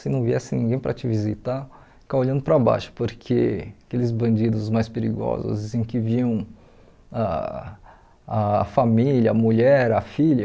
Se não viesse ninguém para te visitar, ficar olhando para baixo, porque aqueles bandidos mais perigosos em que viam ah a família, a mulher, a filha,